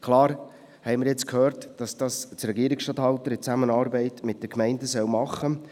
– Klar haben wir jetzt gehört, dass das der Regierungsstatthalter in Zusammenarbeit mit den Gemeinden tun soll.